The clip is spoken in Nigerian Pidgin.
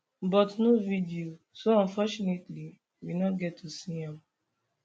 but no video so unfortunately we no get to see am